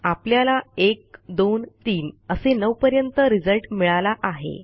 आपल्याला 1 2 3 असे 9 पर्यंत रिझल्ट मिळाला आहे